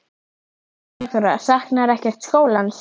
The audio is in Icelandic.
Eva Bergþóra: Saknarðu ekkert skólans?